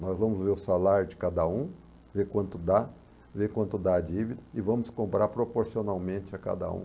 Nós vamos ver o salário de cada um, ver quanto dá, ver quanto dá a dívida e vamos comprar proporcionalmente a cada um.